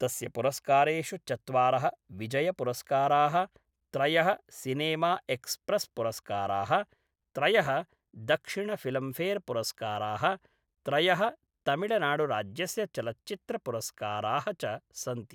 तस्य पुरस्कारेषु चत्वारः विजयपुरस्काराः, त्रयः सिनेमाएक्स्प्रेस्पुरस्काराः, त्रयः दक्षिणफ़िल्मफ़ेर्पुरस्काराः, त्रयः तमिळनाडुराज्यस्य चलच्चित्रपुरस्काराः च सन्ति।